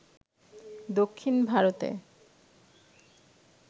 দক্ষিণ ভারতে